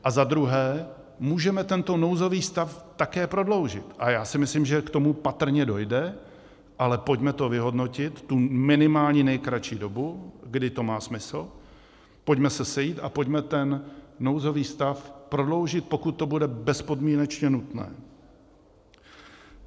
A za druhé, můžeme tento nouzový stav také prodloužit, a já si myslím, že k tomu patrně dojde, ale pojďme to vyhodnotit, tu minimální nejkratší dobu, kdy to má smysl, pojďme se sejít a pojďme ten nouzový stav prodloužit, pokud to bude bezpodmínečně nutné.